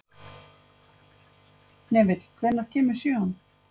Hnefill, hvenær kemur sjöan?